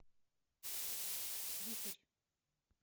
вихрь